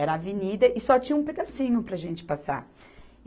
Era a avenida e só tinha um pedacinho para a gente passar.